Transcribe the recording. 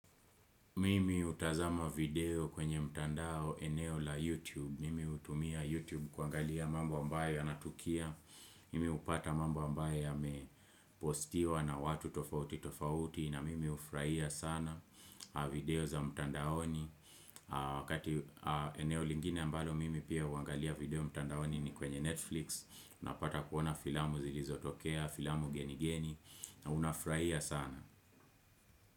Mimi hutazama video kwenye mtandao eneo la YouTube, mimi utumia YouTube kuangalia mambo ambaye yanatukia, mimi hupata mambo ambaye ya mepostiwa na watu tofauti tofauti na mimi hufurahia sana video za mtandaoni Wakati eneo lingine mbalo mimi pia huangalia video mtandaoni ni kwenye Netflix, napata kuona filamu zilizo tokea, filamu geni geni, na unafurahia sana.